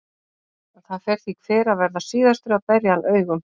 Það fer því hver að verða síðastur að berja hann augum.